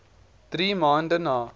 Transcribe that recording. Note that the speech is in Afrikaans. drie maande na